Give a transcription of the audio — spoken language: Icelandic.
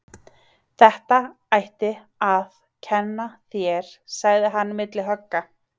Þetta. ætti. að. kenna. þér. sagði hann milli högga.